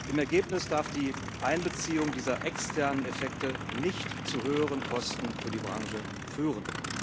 Im Ergebnis darf die Einbeziehung dieser externen Effekte nicht zu höheren Kosten für die Branche führen.